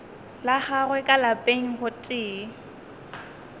la gagwe ka lapeng gotee